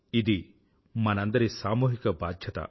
ఇది మనందరి సామూహిక బాధ్యత